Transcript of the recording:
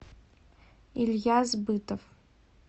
ильяс бытов